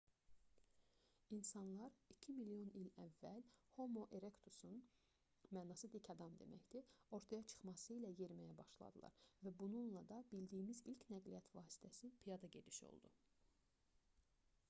i̇nsanlar iki milyon il əvvəl homo erektusun mənası dik adam deməkdir ortaya çıxması ilə yeriməyə başladılar və bununla da bildiyimiz ilk nəqliyyat vasitəsi piyada gediş oldu